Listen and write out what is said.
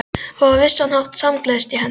Og á vissan hátt samgleðst ég henni.